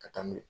Ka taa n'u ye